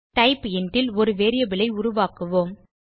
டைப்பைண்ட் ல் ஒரு வேரியபிள் ஐ உருவாக்குவோம்